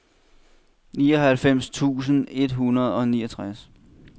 nioghalvfems tusind et hundrede og niogtres